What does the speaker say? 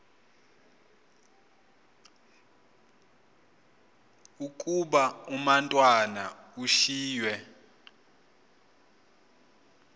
ukuba umatwana ushiywe